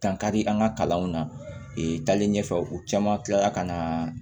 Dankari an ka kalanw nali ɲɛfɛ u caman kilala ka na